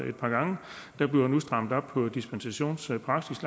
et par gange der bliver nu strammet op på dispensationspraksis